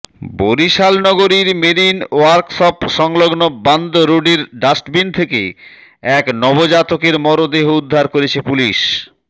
বরিশাল নগরীর মেরিন ওয়ার্কশপসংলগ্ন বান্দ রোডের ডাস্টবিন থেকে এক নবজাতকের মরদেহ উদ্ধার করেছে পুলিশ